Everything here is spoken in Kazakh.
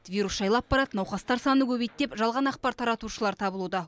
вирус жайлап барады науқастар саны көбейді деп жалған ақпар таратушылар табылуда